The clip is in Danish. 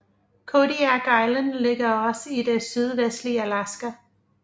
Kodiak Island ligger også i det sydvestlige Alaska